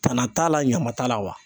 Tana t'a la, ɲama t'a la wa?